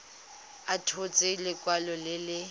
a tshotse lekwalo le le